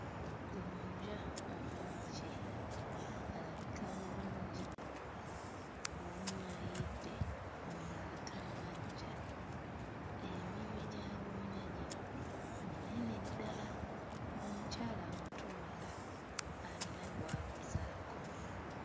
Gonja omwokye alabika bulungi omu ayidde omulala tannaggya. Eminwe gya gonja gino minene ddala. Omukyala amutunda alina gw'aguzaako.